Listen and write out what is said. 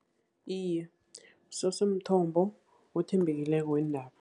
Iye, kusese mthombo othembekileko weendaba.